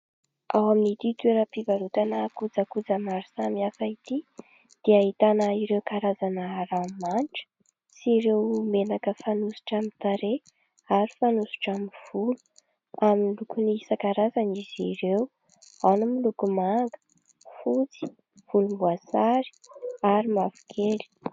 Ao amin'ity toeram-pivarotana kojakoja maro samihafa ity dia ahitana ireo karazana ranomanitra sy ireo menaka fanosotra amin'ny tarehy ary fanosotra amin'ny volo ; amin'ny lokony isan-karazany izy ireo ao no miloko manga, fotsy, volomboasary ary mavokely.